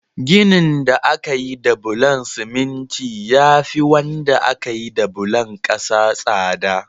Ginin da aka yi da bulon siminti ya fi wanda aka yi da bulon ƙasa tsada.